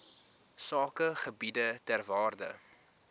sakegebiede ter waarde